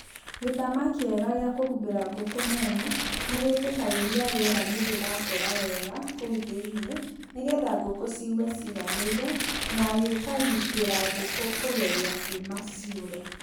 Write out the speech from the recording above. Gĩtama kĩega gĩa kũhumbĩra gũkũ mwena nĩgĩtĩkagĩria rĩera nĩrĩracera wega kũu thĩinĩ nĩgetha ngũkũ cigue ciganĩire na gĩkagitĩra ngũkũ kũgeria kuma ciũre.